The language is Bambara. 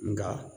Nga